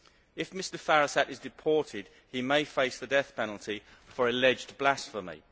If Mr Firasat is deported he may face the death penalty for alleged blasphemy.